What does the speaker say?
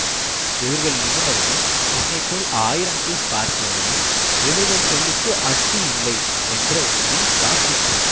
இவர்கள் நிபுணர்கள் என்னை போல் ஆயிரம் கேஸ் பார்த்தவர்கள் இவர்கள் சொல்லுக்கு அட்டியில்லை என்ற உண்மை தாக்கிற்று